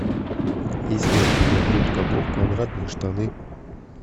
есть ли у тебя губка боб квадратные штаны